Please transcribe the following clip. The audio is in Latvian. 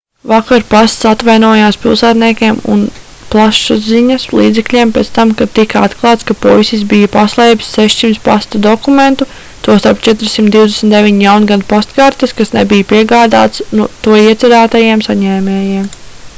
vakar pasts atvainojās pilsētniekiem un plašsaziņas līdzekļiem pēc tam kad tika atklāts ka puisis bija paslēpis 600 pasta dokumentu tostarp 429 jaungada pastkartes kas nebija piegādātas to iecerētajiem saņēmējiem